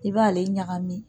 I b'ale ɲagami